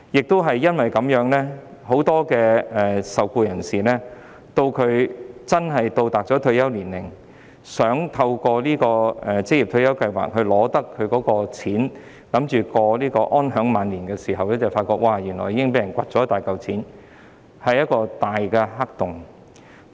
當很多受僱人士到達退休年齡，打算從職業退休計劃收取他的款項以安享晚年時，才發現原來大部分款項已被人取去，這是一個"大黑洞"。